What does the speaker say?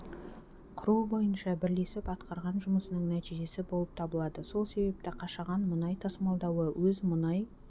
құру бойынша бірлесіп атқарған жұмысының нәтижесі болып табылады сол себепті қашаған мұнай тасымалдауы өз мұнай